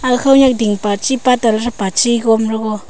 gag khonyak dingpa chi pattala thapa chi grom the go.